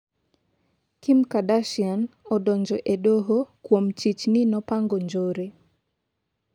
Kim Kardashian odonjo e doho kuom chich ni nopango njore